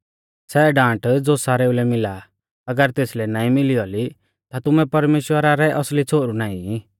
सै डांट ज़ो सारेऊ लै मिला आ अगर तेसलै नाईं मिली औली ता तुमै परमेश्‍वरा रै असली छ़ोहरु नाईं ई